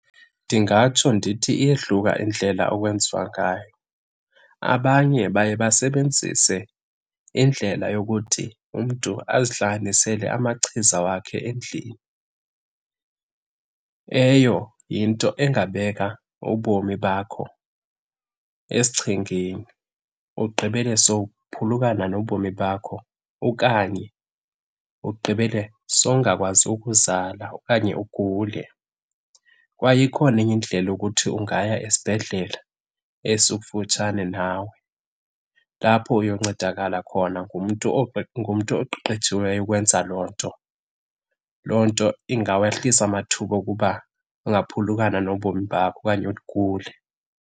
Ndingatsho ndithi iyehluka indlela okwenziwa ngayo. Abanye baye basebenzise indlela yokuthi umntu azihlanganisele amachiza wakhe endlini. Eyo yinto engabeka ubomi bakho esichengeni, ugqibele sowuphulukana nobomi bakho okanye ugqibele sowungakwazi ukuzala okanye ugule. Kwaye ikhona enye indlela yokuthi ungaya esibhedlele esikufutshane nawe lapho uyoncedakala khona ngumntu ngumntu oqeqetshiweyo ukwenza loo nto. Loo nto ingawehlisa amathuba okuba ungaphulukana nobomi bakho okanye ugule.